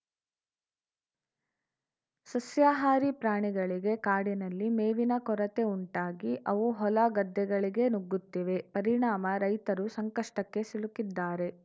ಸಸ್ಯಾಹಾರಿ ಪ್ರಾಣಿಗಳಿಗೆ ಕಾಡಿನಲ್ಲಿ ಮೇವಿನ ಕೊರತೆ ಉಂಟಾಗಿ ಅವು ಹೊಲ ಗದ್ದೆಗಳಿಗೆ ನುಗ್ಗುತ್ತಿವೆ ಪರಿಣಾಮ ರೈತರು ಸಂಕಷ್ಟಕ್ಕೆ ಸಿಲುಕಿದ್ದಾರೆ